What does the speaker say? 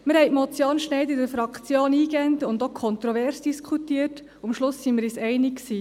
In der Fraktion diskutierten wir die Motion Schneider eingehend, auch kontrovers und waren uns am Schluss einig.